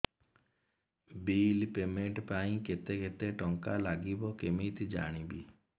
bill payment ପାଇଁ କେତେ କେତେ ଟଙ୍କା ଲାଗିବ କେମିତି ଜାଣିବି